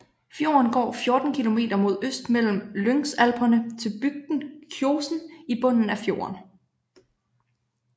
Fjorden går 14 kilometer mod øst mellem Lyngsalperne til bygden Kjosen i bunden af fjorden